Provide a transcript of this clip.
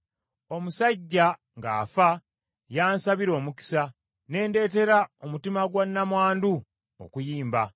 Omusajja ng’afa, y’ansabira omukisa, ne ndeetera omutima gwa nnamwandu okuyimba.